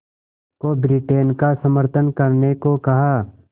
को ब्रिटेन का समर्थन करने को कहा